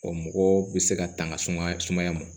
mɔgɔ bɛ se ka tanga sumaya sumaya ma